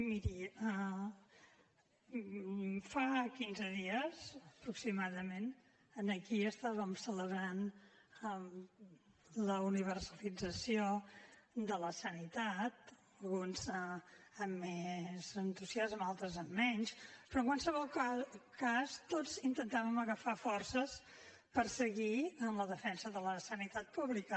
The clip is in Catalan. miri fa quinze dies aproximadament aquí celebràvem la universalització de la sanitat uns amb més entusiasme altres amb menys però en qualsevol cas tots intentàvem agafar forces per seguir amb la defensa de la sanitat pública